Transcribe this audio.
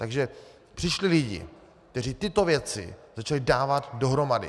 Takže přišli lidé, kteří tyto věci začali dávat dohromady.